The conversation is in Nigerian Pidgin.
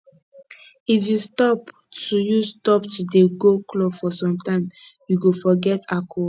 if you stop to you stop to dey go club for some time you go forget alcohol